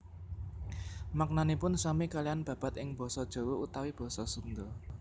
Maknanipun sami kaliyan babad ing basa Jawa utawi basa Sunda